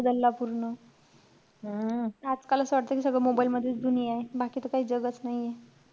बदलला पूर्ण. आजकाल असं वाटत कि सगळं mobile मधेच दुनियायं. बाकी त काई जगंच नाहीये.